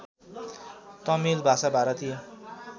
तमिल भाषा भारतीय